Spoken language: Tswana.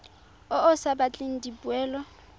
o o sa batleng dipoelo